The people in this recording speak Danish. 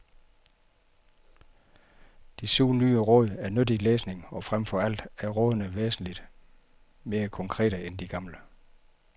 De syv nye råd er nyttig læsning, og fremfor alt er rådene væsentligt mere konkrete end de gamle.